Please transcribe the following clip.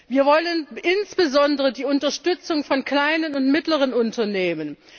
Wir wollen insbesondere die Unterstützung von kleinen und mittleren Unternehmen.